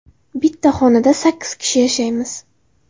Bitta xonada sakkiz kishi yashaymiz.